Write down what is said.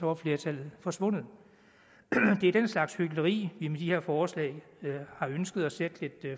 var flertallet forsvundet det er den slags hykleri vi med de her forslag har ønsket at sætte lidt